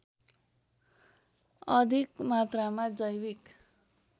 अधिक मात्रामा जैविक